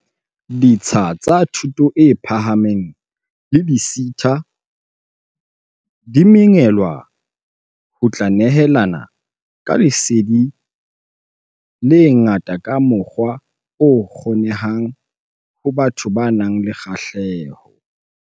Ditsha tsa thuto e phahameng le di-SETA di mengwelwa ho tla nehelana ka lesedi le nga-ta ka mokgwa o kgonehang ho batho ba nang le kgahleho.